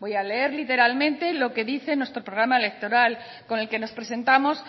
voy a leer literalmente lo que dice nuestro programa electoral con el que nos presentamos